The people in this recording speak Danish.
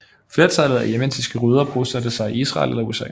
Flertallet af yemenitiske jøder bosatte sig i Israel eller USA